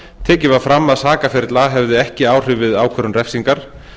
tekið var fram að sakaferill a hefði ekki áhrif við ákvörðun refsingar